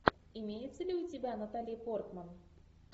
имеется ли у тебя натали портман